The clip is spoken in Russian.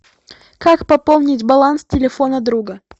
как пополнить баланс телефона друга